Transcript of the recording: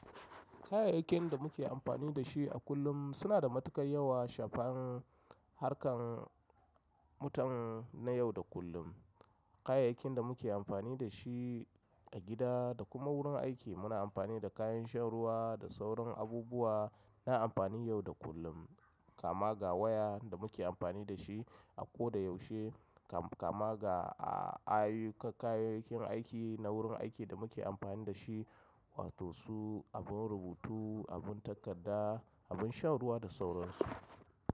Kayayyakin da muke amfani da shi a kullum suna da matukar yawa shafan harkar mutum na yau da kullum. Kayayyakin da muke amfani da shi a gida da kuma wurin aiki muna amfani da kayan shan ruwa da sauran abubuwa na amfani yau da kullum kama ga waya da muke amfani da shi a koda yaushe kama ga a ai a kayayyakin aiki na wurin aiki da muke amfani da shi wato su abun rubutu, abun takarda, abun shan ruwa da sauran su.